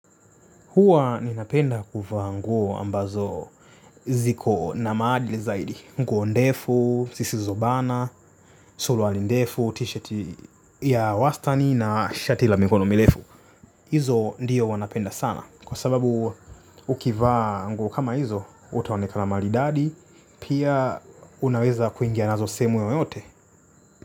Huwa ninapenda kuvaa nguo ambazo ziko na maadili zaidi nguo ndefu, zisizobana, suruali ndefu, tishati ya wastani na shati la mikono mirefu. Hizo ndiyo huwa napenda sana kwa sababu ukivaa nguo kama hizo utaonekana maridadi pia unaweza kuingia nazo sehemu yoyote.